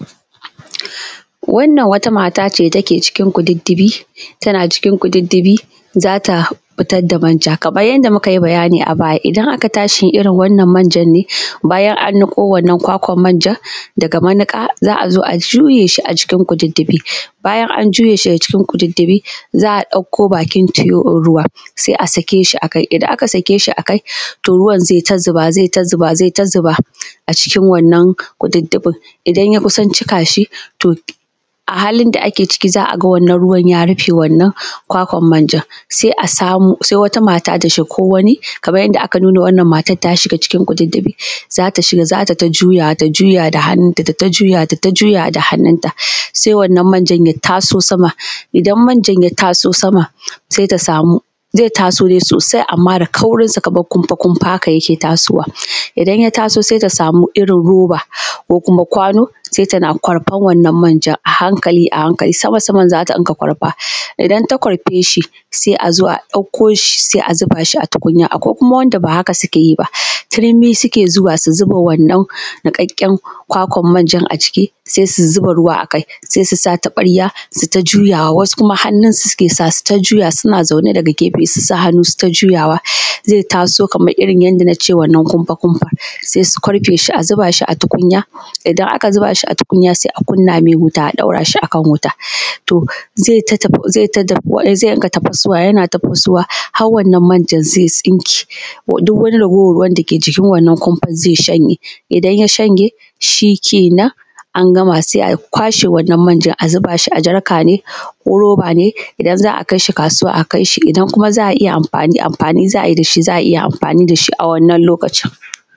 Wannan wata mata ce take cikin kututtubi tana cikin kututtubi ne za ta fitar da manja kaman yanda muka yi bayani a baya, idan aka tashi irin wannan manjan ne bayan an niko wannan kwakwan manjan ne daga maniƙa za a zo a juya shi a cikin kututtubi. Bayan an juye shi daga cikin kututtubi za a ɗauko bakin tiyon din ruwa sai a sake shi akai, idan aka sake shi akai to ruwan zai ta zuba zai ta zuba a cikin wannan kututtubin, idan ya kusa cika shi a halin da ake ciki wanann ruwan ya rufe wannan kwakwan manjan za a samu wata mata ta shiga ko wani kaman yanda aka nuna wannan matan ta shiga cikin kututtubi za ta shiga za tai ta juyawa ta juya da hannunta tai ta juyawa da hannunta sai wannan manjan ya taso sama, idan manjan ya taso sama sai ta samu zai taso ne sosai amma, da kaurinsa kamar kumfa-kumfa haka yake taso wa idan ya taso sai ta samu irin roba ko kuma kwano sai tana kurfar wannan manjan a hankali a hankali sama-saman za ta dinga kwarfa idan ta kwarfe shi sai a zo a ɗauko shi sai a zuba shi a tukunya akwai kuma wanda ba haka suke yi ba turmi suke zuwa su zuba wannan niƙaƙƙen kwakwan manjan a ciki sannan su zuba ruwa akai sai su sa taɓarya su yi ta juyawa wasu kuma hannun suke sawa su yi ta juyawa suna zaune daga gefe su sa hannu su yi ta juyawa zai taso kaman yanda yake wannan kumfa-kumfa, sai su kwarfe shi a zuba shi a tukunya idan aka zuba shi a tukunya sai a kunna mai wuta a ɗaura shi a wuta to zai ta dafuwa sai rinƙa tafasuwa yana tafasowa har wannan manjan zai tsinke duk wani raguwar ruwan dake cikin wannan kumfan zai shanye idan ya shanye shi kenan an gama sai a kwashe wannan manjan a zuba shi a jarka ne ko roba ne, idan za a kai shi kasuwa a kai shi, idan za a anfani, amfani za ai da shi za a iya amfani da shi a wannan lokacin.